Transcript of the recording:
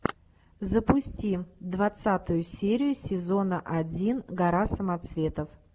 запусти двадцатую серию сезона один гора самоцветов